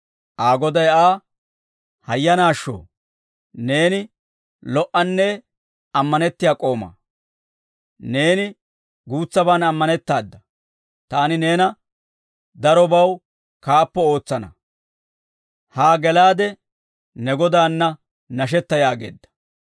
Aa goday Aa, ‹Hayyanaashsho! Neeni lo"anne ammanettiyaa k'oomaa; neeni guutsaban ammanettaada. Taani neena darobaw kaappo ootsana; haa gelaade ne godaanna nashetta› yaageedda.